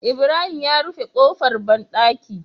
Ibrahim ya rufe kofar banɗaki